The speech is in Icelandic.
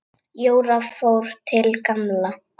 Jóra fór til Gamla.